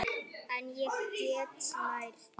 En ég get lært.